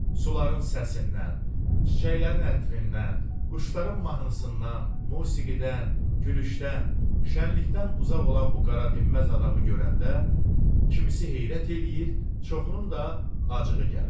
Suların səsindən, çiçəklərin ətrindən, quşların mahnısından, musiqidən, gülüşdən, şənlikdən uzaq olan bu qara-dinməz adamı görəndə, kimisi heyrət eləyir, çoxunun da acığı gəlir.